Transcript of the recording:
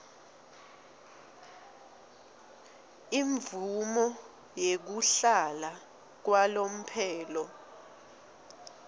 imvumo yekuhlala kwalomphelo